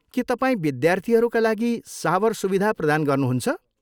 के तपाईँ विद्यार्थीहरूका लागि सावर सुविधा प्रदान गर्नहुन्छ?